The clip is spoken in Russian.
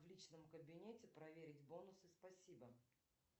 в личном кабинете проверить бонусы спасибо